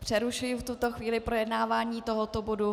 Přerušuji v tuto chvíli projednávání tohoto bodu.